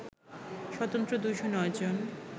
স্বতন্ত্র ২০৯ জন